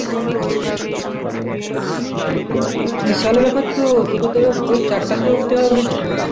বিশাল ব্যাপার তো তোকে তো এবার ভোর চারটায় সে উঠতে হবে সে